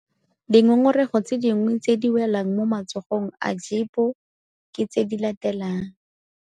Dingongorego tse dingwe tse di welang mo matsogong a GEPO ke tse di latelang -